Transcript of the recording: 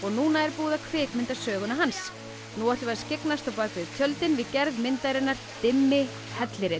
núna er búið að kvikmynda söguna hans nú ætlum við að skyggnast á bak við tjöldin við gerð myndarinnar dimmi hellirinn